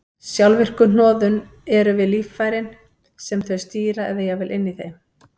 Sjálfvirku hnoðun eru við líffærin sem þau stýra eða jafnvel inni í þeim.